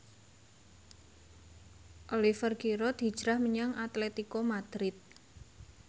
Oliver Giroud hijrah menyang Atletico Madrid